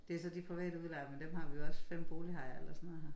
Det så de private udlejere men dem har vi også 5 boligejere eller sådan noget her